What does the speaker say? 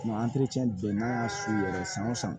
n'an y'a su yɛrɛ san wo san